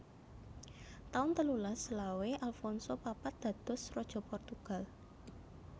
taun telulas selawe Alfonso papat dados Raja Portugal